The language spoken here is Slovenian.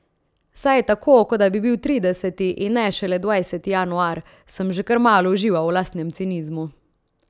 Saj je tako, kot da bi bil trideseti, in ne šele dvajseti januar, sem že kar malo užival v lastnem cinizmu.